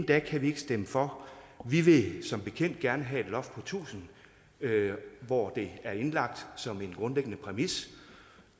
kan vi ikke stemme for vi vil som bekendt gerne have et loft på tusind hvor det er indlagt som en grundlæggende præmis